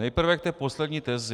Nejprve k té poslední tezi.